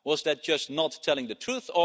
Was that just not telling the truth?